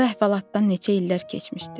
Bu əhvalatdan neçə illər keçmişdi.